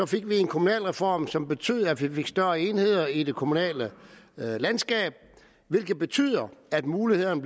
fik vi en kommunalreform som betyder at vi fik større enheder i det kommunale landskab hvilket betyder at mulighederne